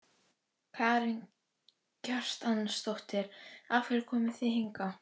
Karen Kjartansdóttir: Af hverju komuð þið hingað?